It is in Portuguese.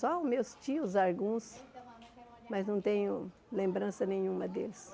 Só meus tios alguns, mas não tenho lembrança nenhuma deles.